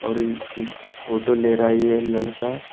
और इ pic photo ले रहा है ये लड़का।